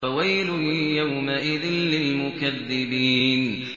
فَوَيْلٌ يَوْمَئِذٍ لِّلْمُكَذِّبِينَ